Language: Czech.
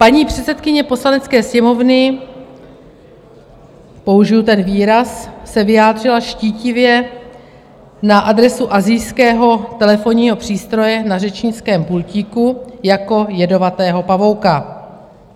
Paní předsedkyně Poslanecké sněmovny - použiji ten výraz - se vyjádřila štítivě na adresu asijského telefonního přístroje na řečnickém pultíku jako jedovatého pavouka.